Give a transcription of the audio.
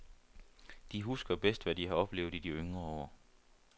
De husker bedst, hvad de har oplevet i de yngre år.